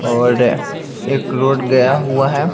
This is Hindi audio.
और एक रोड गया हुआ है।